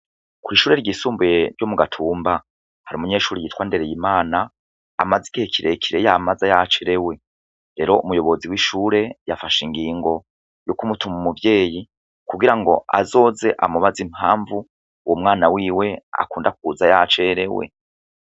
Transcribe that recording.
Kw'ishuri ryisumbuye ryo mugatumba har'umunyeshure yitwa NDEREYIMANA amaze igihe kirekire yamaza yacerewe. Rero umuyobozi w'ishure yafashe ingingo yokumutuma umuvyeyi kugirango azoze amubaze impamvu umwana wiwe akunda kuza yacerewe.